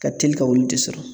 Ka teli ka olu de sɔrɔ